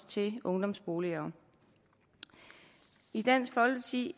til ungdomsboliger i dansk folkeparti